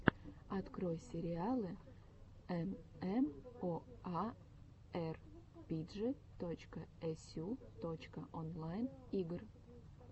открой сериалы эмэмоарпиджи точка эсю точка онлайн игр